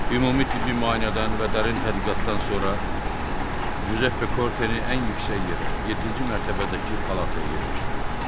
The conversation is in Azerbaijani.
Ümumi tibbi müayinədən və dərin tədqiqatdan sonra Cüzəppe Korteni ən yüksək yerə, yeddinci mərtəbədəki palataya yerləşdirdilər.